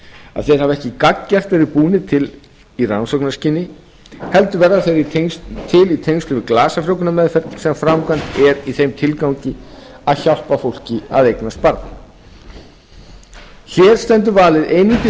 að þeir hafi ekki gagngert verið búnir til í rannsóknarskyni heldur verði þeir til í tengslum við glasafrjóvgunarmeðferð sem framkvæmd er í þeim tilgangi að hjálpa fólki að eignast barn hér stendur valið einungis